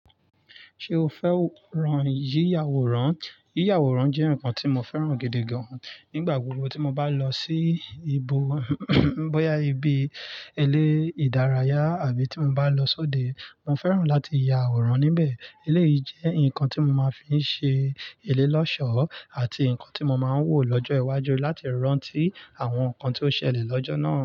Ṣé o fẹ́ran yíya àwòrán? Yíya àwòrán jẹ́ nǹkan tí mo fẹ́ràn gidi gan-an. Nígbà gbogbo tí mo bá lọ sí ibo bóyá ibi ile ìdárayá àbí tí mo bá lọ sóde, mo fẹ́ràn láti ya àwòrán níbẹ̀. Eléyìí jẹ́ nǹkan tí mo máa fíí ṣe ile lọ́sọ̀ọ́ àti nǹkan tí mo máa ń wò lọ́jọ́ iwájú láti rántí àwọn nǹkan tí ó ṣẹlẹ̀ lọ́jọ́ náà.